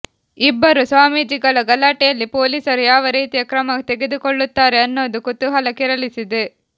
ಇಬ್ಬರು ಸ್ವಾಮೀಜಿಗಳ ಗಲಾಟೆಯಲ್ಲಿ ಪೊಲೀಸರು ಯಾವ ರೀತಿಯ ಕ್ರಮ ತೆಗೆದುಕೊಳ್ಳುತ್ತಾರೆ ಅನ್ನೋದು ಕುತೂಹಲ ಕೆರಳಿಸಿದೆ